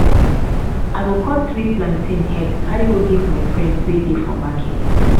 i go cut three plantain head carry go give my friends wey dey for market.